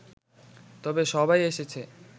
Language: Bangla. তবে সবাই এসেছে